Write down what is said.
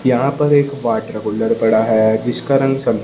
यहां पर एक वाटर कूलर पड़ा है जिसका रंग--